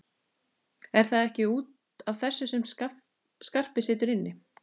Er það ekki út af þessu sem Skarpi situr inni?